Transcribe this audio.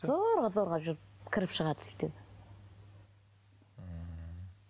зорға зорға жүріп кіріп шығады сөйтіп ммм